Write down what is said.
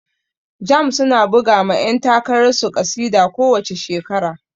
Jamb su na buga ma yan takarar su ƙasida ko wace shekara